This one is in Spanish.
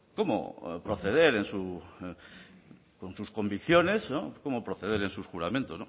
cómo proceder en su con sus convicciones cómo proceder en su juramento